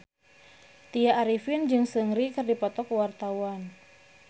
Tya Arifin jeung Seungri keur dipoto ku wartawan